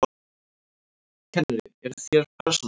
Kennari: Eruð þér persóna?